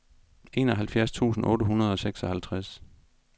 enoghalvfjerds tusind otte hundrede og seksoghalvtreds